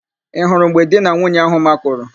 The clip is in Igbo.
Ị hụrụ mgbe di na nwunye áhụ̀ makụrụ?